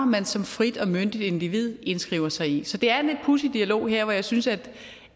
man som frit og myndigt individ indskriver sig i så det er en lidt pudsig dialog her hvor jeg synes at